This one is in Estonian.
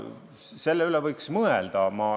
Selle üle võiks mõelda.